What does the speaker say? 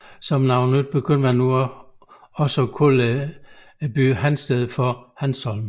Som noget nyt begyndte man nu også at kalde byen Hansted for Hanstholm